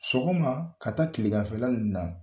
Sɔgɔma ka taa Kileganfɛ ninnu na